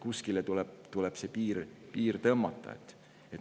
Kuskile tuleb see piir tõmmata.